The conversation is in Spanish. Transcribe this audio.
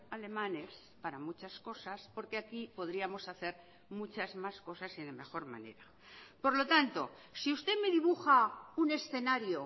alemanes para muchas cosas porque aquí podríamos hacer muchas más cosas y de mejor manera por lo tanto si usted me dibuja un escenario